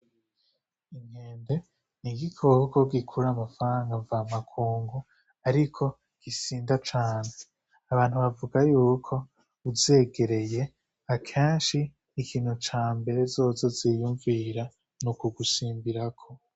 Inkende ni igikoko gikurura amafaranga mvamakungu ariko gisinda cane. Abantu bavuga yuko uzegereye akenshi ikintu ca mbere zozo ziyumvira ni ukugusimbirako.